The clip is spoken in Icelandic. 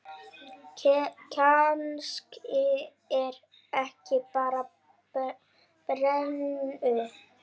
Kannski er ég bara brennu